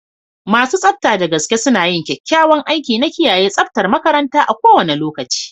Masu tsafta da gaske suna yin kyakkyawan aiki na kiyaye tsaftar makaranta a kowane lokaci.